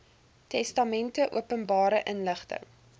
testamente openbare inligting